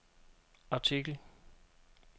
artikel